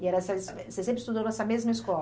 E era só esse, você sempre estudou nessa mesma escola?